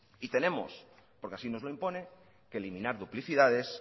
y tenemos porque así no lo impone que eliminar duplicidades